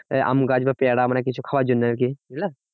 এই আমগাছ বা পেয়ারা মানে কিছু খাওয়ার জন্য আরকি, বুঝলা